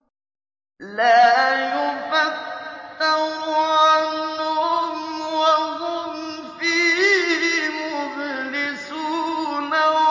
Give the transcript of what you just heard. لَا يُفَتَّرُ عَنْهُمْ وَهُمْ فِيهِ مُبْلِسُونَ